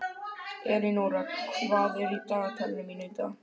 Elínóra, hvað er í dagatalinu mínu í dag?